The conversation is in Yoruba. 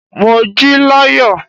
Mo jí láyọ̀.